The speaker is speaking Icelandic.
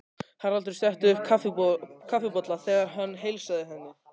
Haraldur setti um kaffibolla þegar hann heilsaði henni.